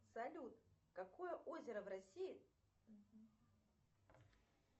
салют какое озеро в россии